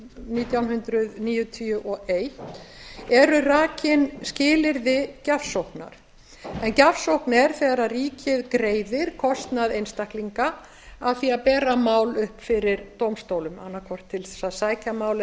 nítján hundruð níutíu og eitt eru rakin skilyrði gjafsóknar en gjafsókn er þegar ríkið greiðir kostnað einstaklinga af því að bera mál upp fyrir dómstólum annað hvort til þess að sækja mál